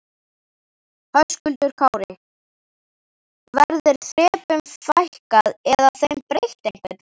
Höskuldur Kári: Verður þrepum fækkað eða þeim breytt einhvern veginn?